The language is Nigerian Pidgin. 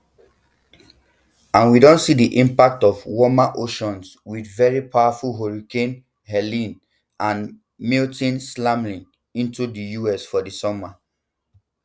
and we don see di impacts of warmer oceans with very powerful hurricanes helene and milton slamming into di us for di summer